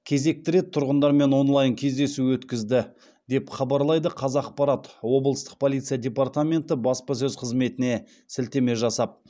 кезекті рет тұрғындармен онлайн кездесу өткізді деп хабарлайды қазақпарат облыстық полиция департаменті баспасөз қызметіне сілтеме жасап